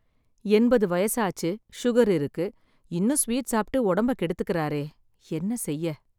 எண்பது வயசாச்சு, சுகர் இருக்கு, இன்னும் ஸ்வீட் சாப்பிட்டு உடம்ப கெடுத்துக்குறாரே, என்ன செய்ய.